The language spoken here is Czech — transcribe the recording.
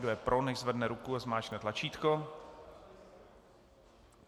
Kdo je pro, nechť zvedne ruku a zmáčkne tlačítko.